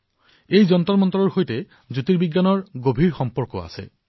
আৰু এই যন্তৰমন্তৰৰ সৈতে জ্যোতিৰ্বিজ্ঞানৰ গভীৰ সম্পৰ্ক আছে